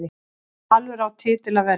Valur á titil að verja